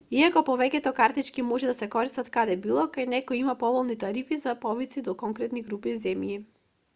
иако повеќето картички може да се користат каде било кај некои има поволни тарифи за повици до конкретни групи земји